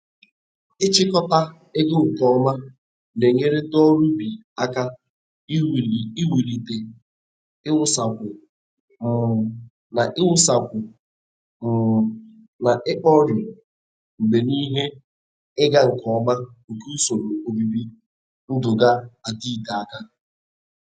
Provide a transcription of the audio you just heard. Ịchịkọta ego nke ọma na-enyere ndị ọrụ ubi aka iwulite iwusakwu um na iwusakwu um na ikpori mgbe n'ihe ịga nke ọma nke usoro obibi ndụga-adịte aka.